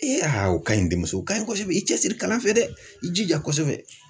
ha o kaɲi denmuso ka ɲɔ kosɛbɛ i cɛ siri kalan fɛ dɛ i jija kosɛbɛ.